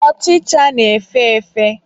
Ọchịcha na-efe efe.